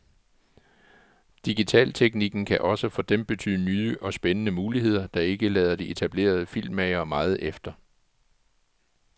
Digitalteknikken kan også for dem betyde nye og spændende muligheder, der ikke lader de etablerede filmmagere meget efter.